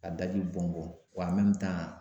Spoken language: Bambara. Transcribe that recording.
Ka daji bɔn bɔn wa